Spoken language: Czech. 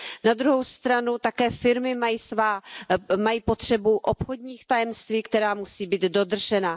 Na druhou stranu také firmy mají potřebu obchodních tajemství, která musí být dodržena.